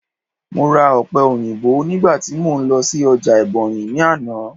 mo ra òpe oyinbo nigba ti mo n lọ sí ọjà ebonyi ni Ana